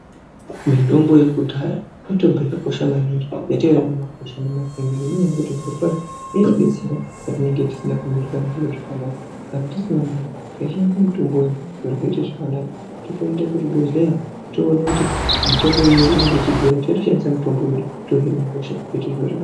Mitombo yekudhaya mitombo yakakosha maningi yatinoona mumakwasha nemumaganga. Nenyaya yekuti zvirokwazvo inodetsera patinenge tisina kumirirwa nezviro zvakanaka. Kana tisina mari toshandisa mitombo zviro zvoite zvakanaka. Totoende kuzvibhehleya toona kuti mutombo iyoyo inenge ichidhura totoshandise mitombo yedu, tohine hosha, zvoite zviro zvaka..,